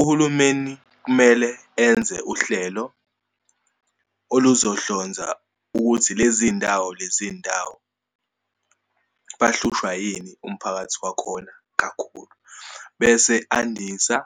Uhulumeni kumele enze uhlelo oluzohlonza ukuthi lezi ndawo, lezi ndawo bahlushwa yini umphakathi wakhona kakhulu. Bese andisa